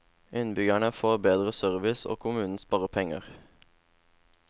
Innbyggerne får bedre service og kommunen sparer penger.